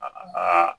A ba